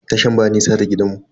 Tashan ba nisa da gidanmu.